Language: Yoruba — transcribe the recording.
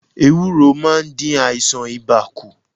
Ewúro maá n dín àìsàn ibà kù